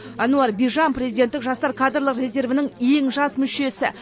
әнуар бижан президенттік жастар кадрлық резервінің ең жас мүшесі